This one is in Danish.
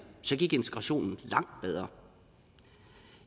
så gik integrationen langt bedre